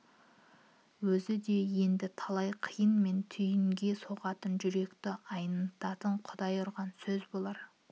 өзі де енді талай қиын мен түйінге соғатын жүректі айнытатын құдай ұрған сөз болар